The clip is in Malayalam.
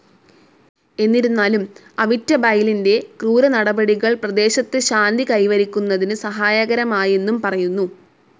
എന്നിരുന്നാലും അവിറ്റബൈലിന്റെ ക്രൂരനടപടികൾ പ്രദേശത്ത് ശാന്തി കൈവരിക്കുന്നതിന് സഹായകരമായെന്നും പറയുന്നു.